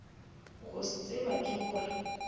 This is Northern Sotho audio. go se tseba ke gore